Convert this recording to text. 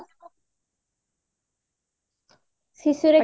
ଶିଶୁରେ କେତେ ଟଙ୍କା